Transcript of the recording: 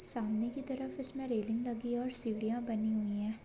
सामने के तरफ इसमे रेलिंग लगी और सीढिया बनी हुई है।